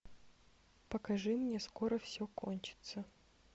покажи мне скоро все кончится